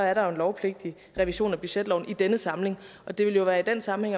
er der jo en lovpligtig revision af budgetloven i denne samling og det vil være i den sammenhæng